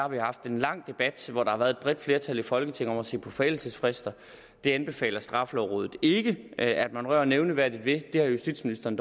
vi haft en lang debat hvor der har været et bredt flertal i folketinget for at se på forældelsesfrister det anbefaler straffelovrådet ikke at man rører nævneværdigt ved justitsministeren